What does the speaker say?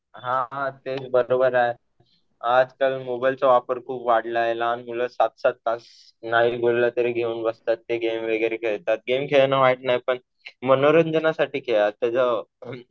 हा हा. ते बरोबर आहे. आजकाल मोबाईलचा वापर खूप वाढला आहे. लहान मुलं सात-सात तास नाही बोललं तरी घेऊन बसतात. ते गेम वगैरे खेळतात. गेम खेळणं वाईट नाही पण मनोरंजनासाठी आताच